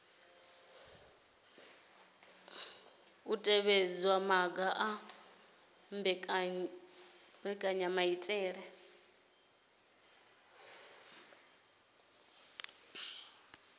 u tevhedza maga a mbekanyamaitele